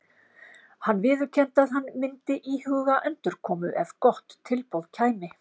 Hann viðurkenndi að hann myndi íhuga endurkomu ef gott tilboð kæmi.